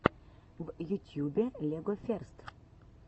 в ютьюбе легоферст